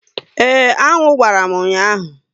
Ee, aṅụ gbàrà m ụnyaahụ